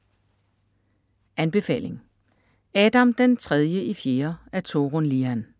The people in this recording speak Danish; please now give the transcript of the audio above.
Anbefaling: Adam den tredje i fjerde af Torun Lian